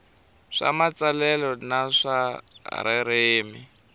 swa matsalelo na swa ririmi